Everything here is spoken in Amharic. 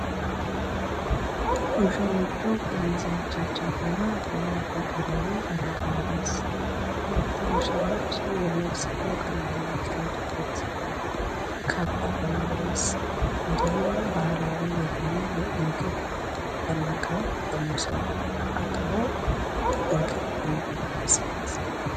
ሙሽሮቹ ከሚዜዎቻቸው ጋራ ሃገራዊ አለባበስ ሁለቱ ሙሽሮች የመልስ ፕሮግራም የሚካሄድበት ካባ በመልበስ እንዲሁም ባህላዊ የሆነ የምግብ በማረብ በመሶብ አቅርበው ምግብ የሚበሉበት ስነስርአት ነው።